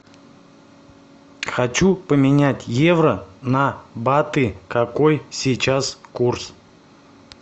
хочу поменять евро на баты какой сейчас курс